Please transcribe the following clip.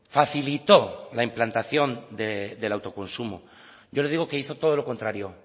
facilitó la implantación del autoconsumo yo le digo que hizo todo lo contrario